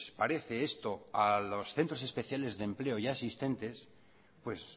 parece esto a los centros especiales de empleo ya existentes pues